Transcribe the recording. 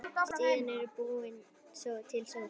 Síðan er búin til sósa.